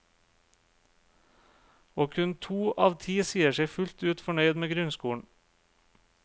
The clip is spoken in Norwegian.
Og kun to av ti sier seg fullt ut fornøyd med grunnskolen.